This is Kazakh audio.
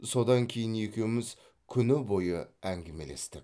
содан кейін екеуіміз күні бойы әңгімелестік